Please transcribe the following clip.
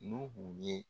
N'u ye